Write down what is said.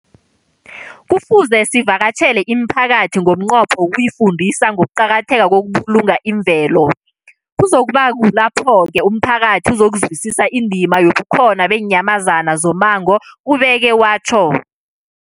Kufuze sivakatjhele imiphakathi ngomnqopho wokuyifundisa ngokuqakatheka kokubulunga imvelo. Kuzoku ba kulapho-ke umphakathi uzokuzwisisa indima yobukhona beenyamazana zommango, ubeke watjho.